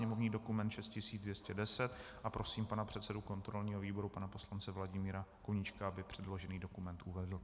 Sněmovní dokument 6210 a prosím pana předsedu kontrolního výboru pana poslance Vladimíra Koníčka, aby předložený dokument uvedl.